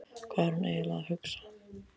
Hvað er hún eiginlega að hugsa?